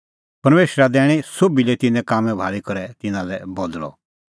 परमेशरा दैणअ सोभी लै तिन्नें कामां भाल़ी करै तिन्नां लै बदल़अ